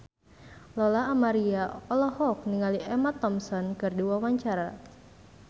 Lola Amaria olohok ningali Emma Thompson keur diwawancara